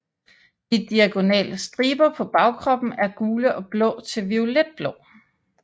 De diagonale striber på bagkroppen er gule og blå til violet blå